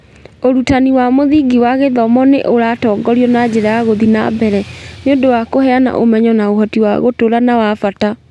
Ũrutani wa mũthingi wa gĩthomo nĩ ũratongorio na njĩra ya gũthiĩ na mbere, nĩ ũndũ wa kũheana ũmenyo na ũhoti wa gũtũũra na wa bata.